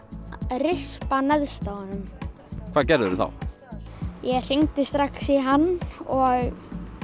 rispa neðst á hnakkpípunni hvað gerðir þú þá ég hringdi strax í hann og